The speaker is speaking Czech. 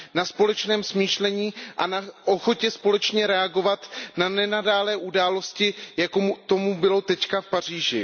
Na společném smýšlení a na ochotě společně reagovat na nenadálé události, jako tomu bylo teď v Paříži.